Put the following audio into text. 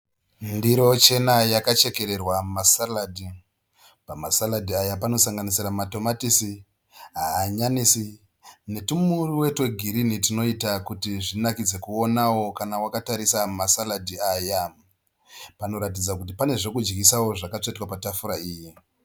Ndiro chena yakachekererwa masaradhi. Pamasaradhi aya panosanganaisa matomatisi, hanyanisi netwumuriwo twegirini twunoita kuti zvinakidze kuonawo kana wakatarisa masaradhi aya. Panoratidza kuti pane zvekudyisawo zvakatsvetwa patafura iyi.